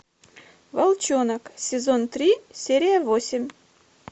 волчонок сезон три серия восемь